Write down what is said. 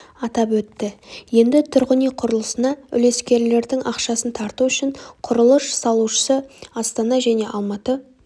атап өтті енді тұрғын үй құрылысына үлескерлердің ақшасын тарту үшін құрылыс салушы астана және алматы